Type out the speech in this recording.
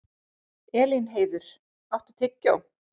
Elínheiður, áttu tyggjó?